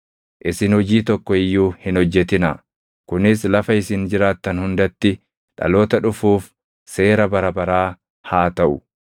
Isin hojii tokko iyyuu hin hojjetinaa. Kunis lafa isin jiraattan hundatti dhaloota dhufuuf seera bara baraa haa taʼu.